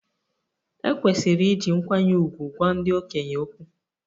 E kwesịrị iji nkwanye ùgwù gwa ndị okenye okwu.